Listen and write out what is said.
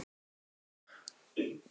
Kiddi, hvað er lengi opið í Blómaborg?